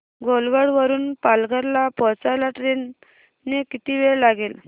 घोलवड वरून पालघर ला पोहचायला ट्रेन ने किती वेळ लागेल